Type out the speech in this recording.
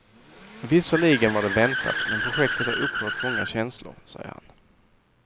Visserligen var det väntat, men projektet har upprört många känslor, säger han.